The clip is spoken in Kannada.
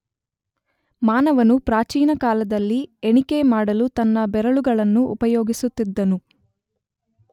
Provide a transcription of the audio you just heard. ಮಾನವನು ಪ್ರಾಚೀನಕಾಲದಲ್ಲಿ ಎಣಿಕೆ ಮಾಡಲು ತನ್ನ ಬೆರಳುಗಳನ್ನು ಉಪಯೋಗಿಸುತ್ತಿದ್ದನು.